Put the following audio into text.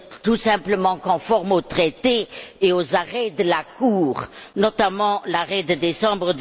tout simplement se conformer aux traités et aux arrêts de la Cour, notamment l'arrêt de décembre